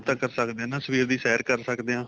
ਕਰ ਸਕਦੇ ਹਾਂ ਨਾ ਸਵੇਰ ਦੀ ਸੈਰ ਕਰ ਸਕਦੇ ਆ